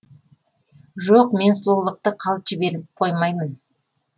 жоқ мен сұлулықты қалт жіберіп қоймаймын